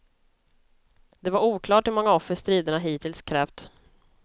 Det var oklart hur många offer striderna hittills krävt.